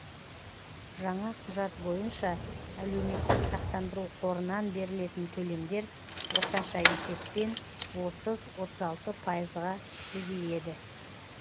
жаңа құжат бойынша әлеуметтік сақтандыру қорынан берілетін төлемдер орташа есеппен отыз отыз алты пайызға көбейеді